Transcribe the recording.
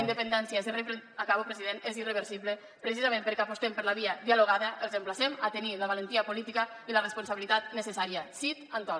independència acabo president és irreversible precisament perquè apostem per la via dialogada els emplacem a tenir la valentia política i la responsabilitat necessària sit and talk